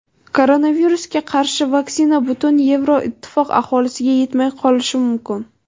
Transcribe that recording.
Koronavirusga qarshi vaksina butun Yevroittifoq aholisiga yetmay qolishi mumkin.